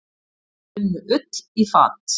Unnu Ull í fat.